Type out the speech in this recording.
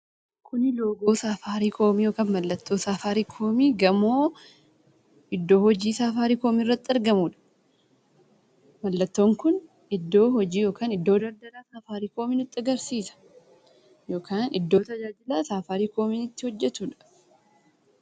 Kuni loogoo safaariikoomii yookaan mallattoo safaariikoomii gamoo iddoo hojii safaariikoomii irratti argamudha. Mallattoon Kun iddoo hojii yookaan iddoo daldala nutti agarsiisa yookaan iddoo tajaajila safaariikoomiin itti hojjetudha.